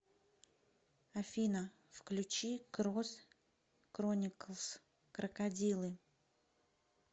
афина включи крос крониклс крокодилы